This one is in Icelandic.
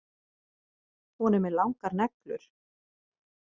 Hún er með langar neglur.